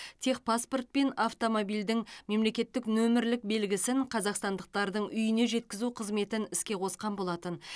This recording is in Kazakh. техпаспорт пен автомобильдің мемлекеттік нөмірлік белгісін қазақстандықтардың үйіне жеткізу қызметін іске қосқан болатын